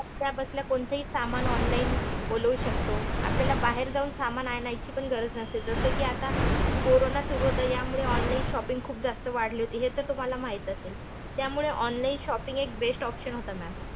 बसल्या बसल्या कोणतेही सामान online बोलावू शकतो. आपल्याला बाहेर जाऊन सामान आणायची पण गरज नसते. जसं कि आता कोरोना सुरु होता यामुळे online shopping खूप जास्त वाढली होती. हे तर तुम्हाला माहित असेल. त्यामुळे online shopping एक best option होता ma'am.